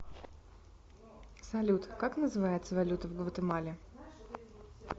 салют как называется валюта в гватемале